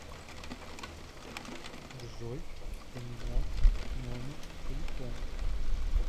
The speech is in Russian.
джой поменялся номер телефона